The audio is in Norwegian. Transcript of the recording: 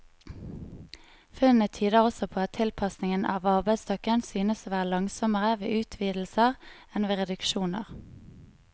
Funnene tyder også på at tilpasningen av arbeidsstokken synes å være langsommere ved utvidelser enn ved reduksjoner.